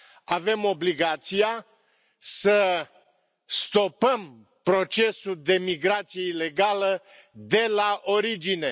Avem obligația să stopăm procesul de migrație ilegală de la origine.